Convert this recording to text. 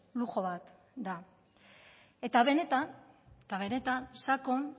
luxu bat da benetan sakon